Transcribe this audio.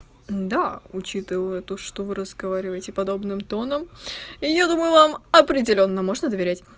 да учитывая то что вы разговариваете подобным тоном я думаю вам определённо можно доверять